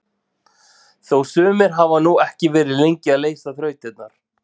Þó sumir hafi nú ekki verið lengi að leysa þrautirnar!